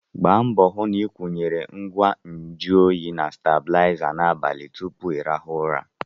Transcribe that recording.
Gba mbọ hụ na ị kwụyere ngwa nju oyi na stebụlaiza n'abalị tupu ịrahụ ụra!